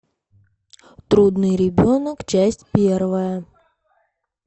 трудный ребенок часть первая